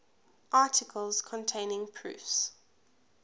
articles containing proofs